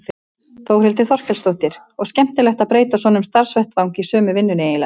Þórhildur Þorkelsdóttir: Og skemmtilegt að breyta svona um starfsvettvang í sömu vinnunni eiginlega?